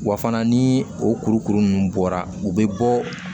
Wa fana ni o kurukuru ninnu bɔra u bɛ bɔ